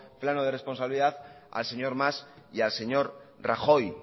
plano de responsabilidad al señor mas y al señor rajoy